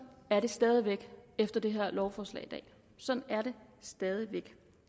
er det stadig væk efter det her lovforslag i dag sådan er det stadig væk